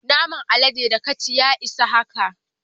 Naman aladen da ka ci, ya isa haka.